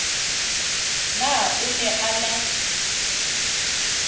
na o ne o na